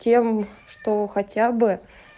тем что хотя бы